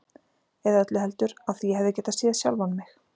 Eða öllu heldur: af því ég hefði getað séð sjálfan mig.